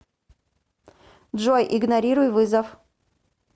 джой игнорируй вызов